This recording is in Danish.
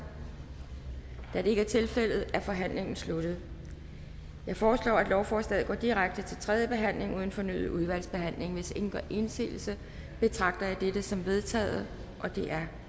da det ikke er tilfældet er forhandlingen sluttet jeg foreslår at lovforslaget går direkte til tredje behandling uden fornyet udvalgsbehandling hvis ingen gør indsigelse betragter jeg dette som vedtaget det er